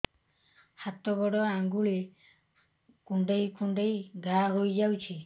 ହାତ ଗୋଡ଼ ଆଂଗୁଳି କୁଂଡେଇ କୁଂଡେଇ ଘାଆ ହୋଇଯାଉଛି